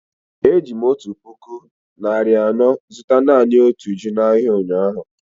Eji m otu puku naịra anọ zụta naanị otu ji n'ahịa ụnyahụ.